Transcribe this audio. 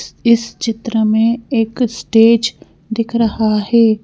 इस चित्र में एक स्टेज दिख रहा है।